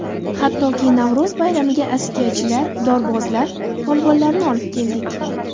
Hattoki Navro‘z bayramiga askiyachilar, dorbozlar, polvonlarni olib keldik.